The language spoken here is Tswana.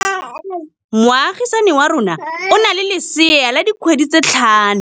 Moagisane wa rona o na le lesea la dikgwedi tse tlhano.